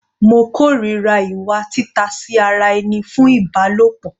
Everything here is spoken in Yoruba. Mo kòrira ìwà tita sí ara ẹni fún Ìbálòpọ̀.